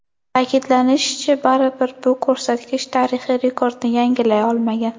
Ta’kidlanishicha, baribir bu ko‘rsatkich tarixiy rekordni yangilay olmagan.